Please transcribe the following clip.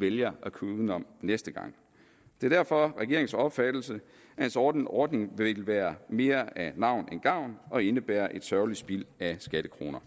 vælger at køre udenom næste gang det er derfor regeringens opfattelse at en sådan ordning vil være mere af navn end af gavn og indebære et sørgeligt spild af skattekroner